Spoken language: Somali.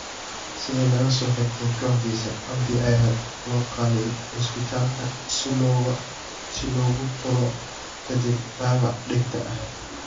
Sida laga soo xigtay kooxdiisa, Cabdi ayaa loo qaaday cusbitaalka si loogu tolo kadib dhaawac dhegta ah.